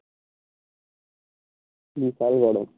বিশাল গরম